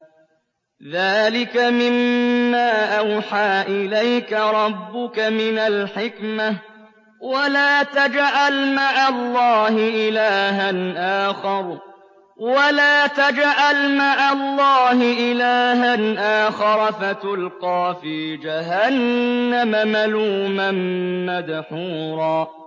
ذَٰلِكَ مِمَّا أَوْحَىٰ إِلَيْكَ رَبُّكَ مِنَ الْحِكْمَةِ ۗ وَلَا تَجْعَلْ مَعَ اللَّهِ إِلَٰهًا آخَرَ فَتُلْقَىٰ فِي جَهَنَّمَ مَلُومًا مَّدْحُورًا